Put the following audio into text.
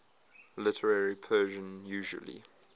literary persian usually